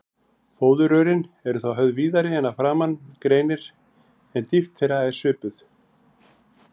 Fóðurrörin eru þá höfð víðari en að framan greinir, en dýpt þeirra er svipuð.